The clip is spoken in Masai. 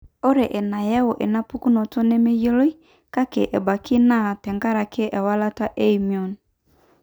ore enayau enapukunoto nemeyioloi, kake ebaiki naa tenkaraki ewalata eimmune.